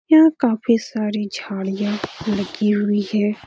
यह काफी सारी झाडियां लगी हुई है ।